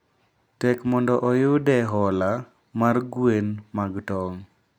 tek mondo oyude hola mar gwen mag tong'.